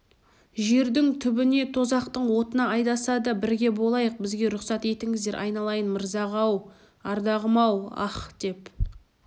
жердің түбіне тозақтың отына айдаса да бірге болайық бізге рұқсат етіңіздер айналайын мырзаға-оу ардағым-оу аһ деп